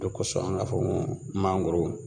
O lo kɔsɔn an k'a fɔ ko mangoro